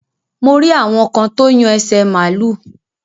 Mo rí àwọn kan tó yan ẹsẹ̀ màlúù.